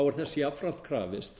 er þess jafnframt krafist